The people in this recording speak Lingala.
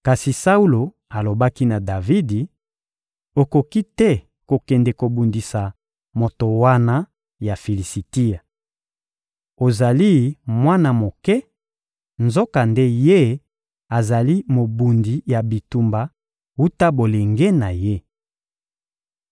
Kasi Saulo alobaki na Davidi: — Okoki te kokende kobundisa moto wana ya Filisitia! Ozali mwana moke, nzokande ye azali mobundi ya bitumba wuta bolenge na ye.